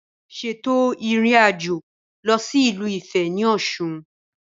Ṣètò ìrìnàjò lọ sí ìlú Ifẹ̀ ní Ọ̀ṣun